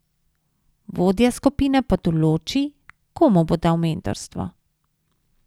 Vodja skupine pa določi, komu bo dal mentorstvo.